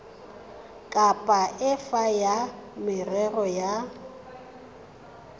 kapa efe ya merero ya